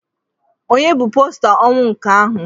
Ònye bụ posta ọnwụ nke ahụ?